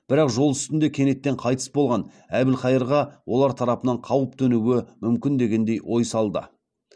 бірақ жол үстінде кенеттен қайтыс болған әбілқайырға олар тарапынан қауіп төнуі мүмкін деген ой салды